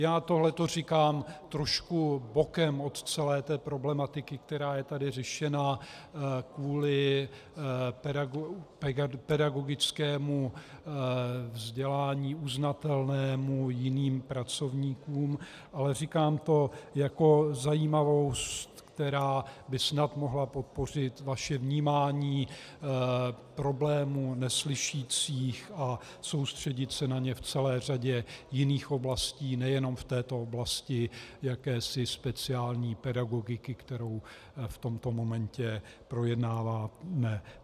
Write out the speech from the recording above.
Já tohle to říkám trošku bokem od celé té problematiky, která je tady řešena kvůli pedagogickému vzdělání uznatelnému jiným pracovníkům, ale říkám to jako zajímavost, která by snad mohla podpořit vaše vnímání problému neslyšících, a soustředit se na ně v celé řadě jiných oblastí, nejenom v této oblasti jakési speciální pedagogiky, kterou v tomto momentě projednáváme.